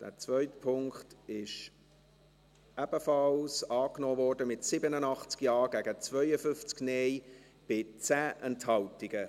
Der zweite Punkt wurde ebenfalls angenommen, mit 87 Ja- gegen 52 Nein-Stimmen bei 10 Enthaltungen.